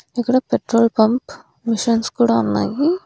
ఇక్కడ petrol pump machines కూడా ఉన్నాయి.